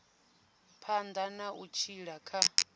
phanḓa na u tshila kha